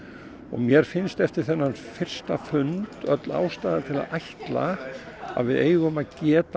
mér finnst eftir þennan fyrsta fund öll ástæða til að ætla að við eigum að geta